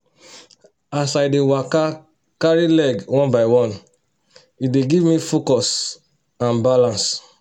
as i dey waka i dey cari leg one by one e dey give me focus and balance